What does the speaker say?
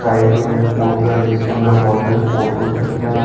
Side में एक photo है जिसके अंदर बहोत सारे फोटोज रखे हुए हैं।